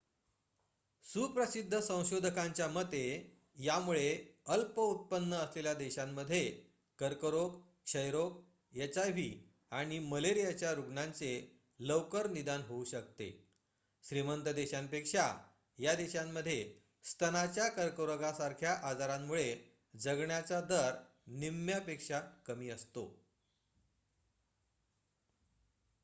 सुप्रसिद्ध संशोधकांच्या मते यामुळे अल्प उत्पन्न असलेल्या देशांमध्ये कर्करोग क्षयरोग एचआयव्ही आणि मलेरियाच्या रुग्णांचे लवकर निदान होऊ शकते श्रीमंत देशांपेक्षा या देशांमध्ये स्तनाच्या कर्करोगासारख्या आजारांमुळे जगण्याचा दर निम्म्यापेक्षा कमी असतो